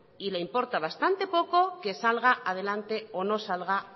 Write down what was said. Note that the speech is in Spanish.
y le importa bastante poco que salga adelante o no salga